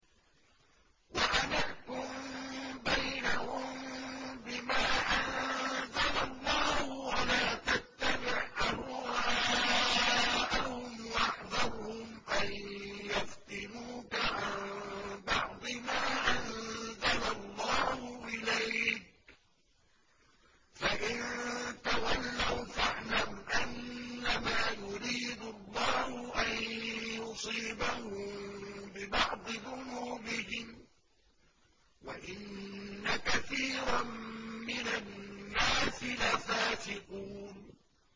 وَأَنِ احْكُم بَيْنَهُم بِمَا أَنزَلَ اللَّهُ وَلَا تَتَّبِعْ أَهْوَاءَهُمْ وَاحْذَرْهُمْ أَن يَفْتِنُوكَ عَن بَعْضِ مَا أَنزَلَ اللَّهُ إِلَيْكَ ۖ فَإِن تَوَلَّوْا فَاعْلَمْ أَنَّمَا يُرِيدُ اللَّهُ أَن يُصِيبَهُم بِبَعْضِ ذُنُوبِهِمْ ۗ وَإِنَّ كَثِيرًا مِّنَ النَّاسِ لَفَاسِقُونَ